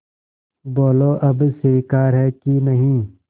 बोलो अब स्वीकार है कि नहीं